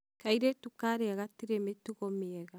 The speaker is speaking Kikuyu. kairĩtu kaarĩa gatirĩ mĩtugo mĩega